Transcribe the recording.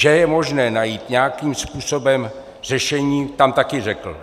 Že je možné najít nějakým způsobem řešení, tam také řekl.